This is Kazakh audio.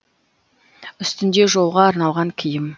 үстінде жолға арналған киім